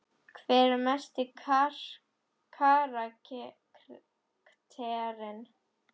Hver er mesti karakterinn?